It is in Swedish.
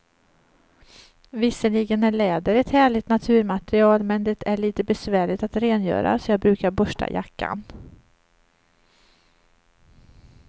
Visserligen är läder ett härligt naturmaterial, men det är lite besvärligt att rengöra, så jag brukar borsta jackan.